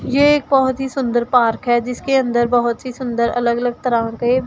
ये एक बहोत ही सुंदर पार्क है जिसके अंदर बहोत ही सुंदर अलग अलग तरह के--